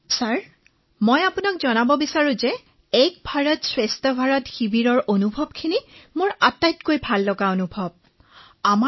তৰন্নুম খানঃ মহাশয় মই আপোনাক কব বিচাৰিছো যে মোৰ আটাইতকৈ সুন্দৰ অভিজ্ঞতা হৈছিল এক ভাৰত শ্ৰেষ্ঠ ভাৰত শিবিৰত থকা সময়খিনিত